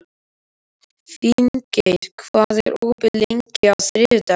Finngeir, hvað er opið lengi á þriðjudaginn?